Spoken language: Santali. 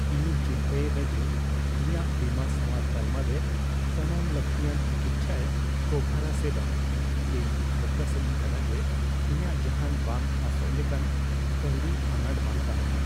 ᱤᱧᱤᱧ ᱪᱤᱱᱛᱟᱹᱭ ᱮᱫᱟ ᱡᱮ ᱤᱧᱟᱹᱜ ᱵᱤᱢᱟ ᱥᱟᱶᱟᱨ ᱛᱟᱞᱢᱟ ᱨᱮ ᱥᱟᱱᱟᱢ ᱞᱟᱹᱠᱛᱤᱭᱟᱱ ᱛᱤᱠᱤᱪᱪᱷᱟᱭ ᱠᱚᱵᱷᱟᱨᱼᱟ ᱥᱮ ᱵᱟᱝ ᱾ ᱤᱧ ᱴᱷᱟᱹᱠᱟᱹ ᱥᱟᱱᱟᱧ ᱠᱟᱱᱟ ᱡᱮ ᱤᱧᱟᱜ ᱡᱟᱦᱟᱱ ᱵᱟᱝ ᱟᱸᱥᱚᱜ ᱞᱮᱠᱟᱱ ᱠᱟᱹᱣᱰᱤ ᱟᱱᱟᱴ ᱵᱟᱝ ᱛᱟᱦᱮᱱᱟ ᱾